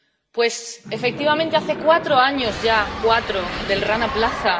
Pues, efectivamente, hace cuatro años ya —cuatro— del Rana Plaza.